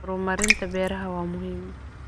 Horumarinta beeraha waa muhiim.